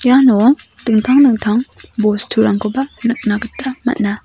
iano dingtang dingtang bosturangkoba nikna gita man·a.